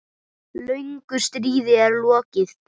Löngu stríði er lokið.